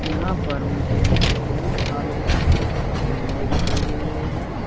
यहां पर मुझे बहुत सारे झंडे दिखाई दे रहे हैं।